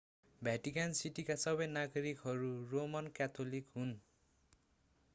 भ्याटिकन सिटीका सबै नागरिकहरू रोमन क्याथोलिक हुन्